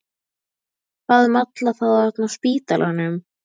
Hvað um alla þá þarna á spítalanum?